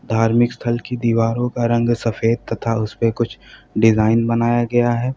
धार्मिक स्थल की दीवारों का रंग सफेद तथा उसेपे कुछ डिजाइन बनाया गया है।